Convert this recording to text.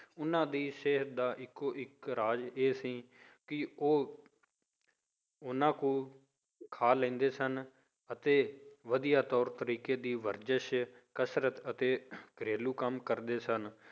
ਉਹਨਾਂ ਦੀ ਸਿਹਤ ਦਾ ਇੱਕੋ ਇੱਕ ਰਾਜ ਇਹ ਸੀ ਕਿ ਉਹ ਓਨਾ ਕੁ ਖਾ ਲੈਂਦੇ ਸਨ ਅਤੇ ਵਧੀਆ ਤੌਰ ਤਰੀਕੇ ਦੀ ਵਰਜਿਸ ਕਸ਼ਰਤ ਅਤੇ ਘਰੇਲੂ ਕੰਮ ਕਰਦੇ ਸਨ